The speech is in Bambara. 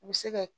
U bɛ se kɛ